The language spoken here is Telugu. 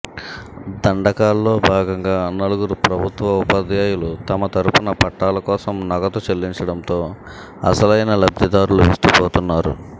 దండకాల్లో భాగంగా నలుగురు ప్రభుత్వ ఉపాధ్యాయులు తమ తరఫున పట్టాల కోసం నగదు చెల్లించటంతో అసలైన లబ్ధిదారులు విస్తు పోతున్నారు